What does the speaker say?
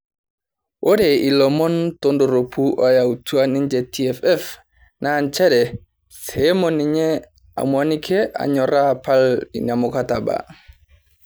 Ore ilomon tondoropu oyautua ninje TFF na njere sehomo ninye Amuanike anyoraa apal ina mukataba